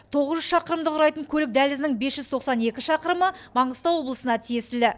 тоғыз жүз шақырымды құрайтын көлік дәлізінің бес жүз тоқсан екі шақырымы маңғыстау облысына тиесілі